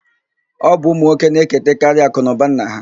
Ọ bụ ụmụnwoke na-eketekarị akụnụba nna ha.